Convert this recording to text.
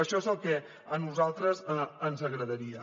això és el que a nosaltres ens agradaria